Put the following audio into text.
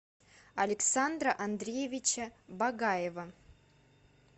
александра андреевича багаева